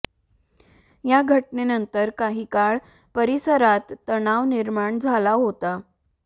या घटनेनंतर काही काळ परिसरात तणाव निर्माण झाला होता